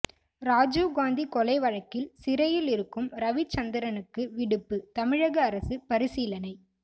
ராஜிவ்காந்தி கொலை வழக்கில் சிறையில் இருக்கும் ரவிச்சந்திரனுக்கு விடுப்பு தமிழக அரசு பரிசீலனை